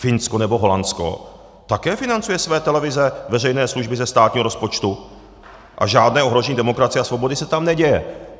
Finsko nebo Holandsko také financují své televize veřejné služby ze státního rozpočtu a žádné ohrožení demokracie a svobody se tam neděje.